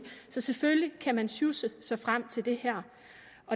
så selvfølgelig kan man sjusse sig frem til det her